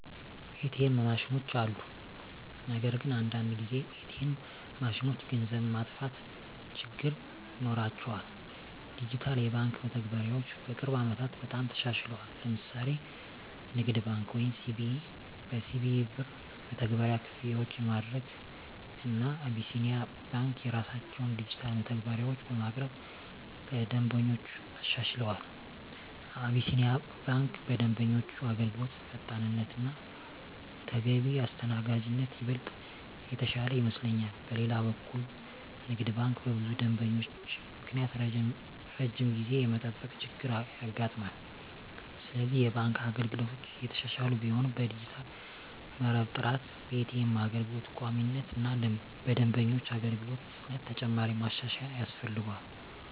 ኤ.ቲ.ኤም ማሽኖች አሉ። ነገር ግን አንዳንድ ጊዜ ኤ.ቲ.ኤም ማሽኖች ገንዘብ መጥፋት ችግር ይኖራቸዋል። ዲጂታል የባንክ መተግበሪያዎች በቅርብ ዓመታት በጣም ተሻሽለዋል። ለምሳሌ ንግድ ባንክ(CBE) በCBE Birr መተግበሪያ ክፍያዎችን ማድረግ፣ እና አቢሲኒያ ባንክ የራሳቸውን ዲጂታል መተግበሪያዎች በማቅረብ ለደንበኞች አሻሽለዋል። አቢሲኒያ ባንክ በደንበኞች አገልግሎት ፈጣንነት እና ተገቢ አስተናጋጅነት ይበልጥ የተሻለ ይመስለኛል። በሌላ በኩል ንግድ ባንክ በብዙ ደንበኞች ምክንያት ረጅም ጊዜ የመጠበቅ ችገር ያጋጥማል፤ ስለዚህ የባንክ አገልግሎቶች እየተሻሻሉ ቢሆንም በዲጂታል መረብ ጥራት፣ በኤ.ቲ.ኤም አገልግሎት ቋሚነት እና በደንበኞች አገልግሎት ፍጥነት ተጨማሪ ማሻሻያ ያስፈልጋል።